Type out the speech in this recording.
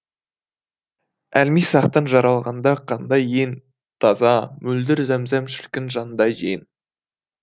әлмисақтан жаралғанда қандай ең таза мөлдір зәм зәм шіркін жандай ең